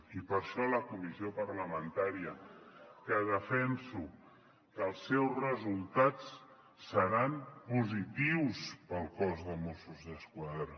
i per això a la comissió parlamentària defenso que els seus resultats seran positius per al cos de mossos d’esquadra